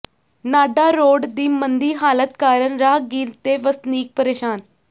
Nada road ਦੀ ਮੰਦੀ ਹਾਲਤ ਕਾਰਨ ਰਾਹਗੀਰ ਤੇ ਵਸਨੀਕ ਪੇ੍ਰਸ਼ਾਨ